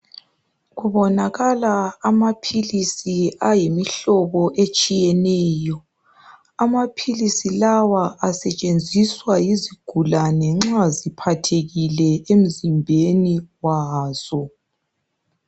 Kubonakala amaphilsi ayimihlobo etshiyeneyo. Amapilisi lawa asetshenziswa yizigulane nxa ziphathekile emzimbeni wazo.